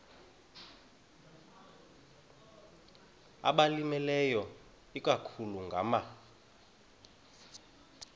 abalimileyo ikakhulu ngama